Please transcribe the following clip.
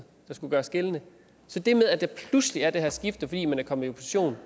der skulle gøres gældende så det med at der pludselig er det her skifte fordi man er kommet